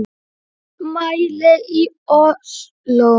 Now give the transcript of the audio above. Mótmæli í Osló